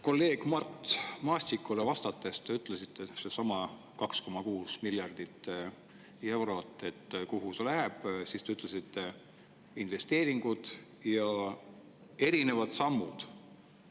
Kolleeg Mart Maastikule vastates te ütlesite selle kohta, kuhu see 2,6 miljardit eurot läheb, et investeeringuteks ja erinevateks sammudeks.